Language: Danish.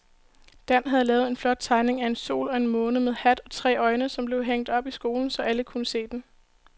Dan havde lavet en flot tegning af en sol og en måne med hat og tre øjne, som blev hængt op i skolen, så alle kunne se den.